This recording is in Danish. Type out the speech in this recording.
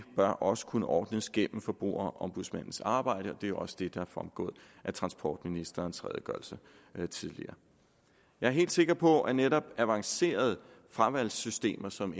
bør også kunne ordnes gennem forbrugerombudsmandens arbejde og det er også det der er fremgået af transportministerens redegørelse tidligere jeg er helt sikker på at netop avancerede fravalgssystemer som